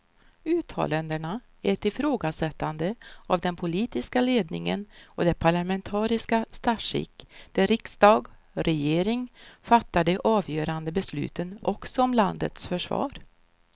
Uttalandena är ett ifrågasättande av den politiska ledningen och det parlamentariska statsskick där riksdag och regering fattar de avgörande besluten också om landets försvar.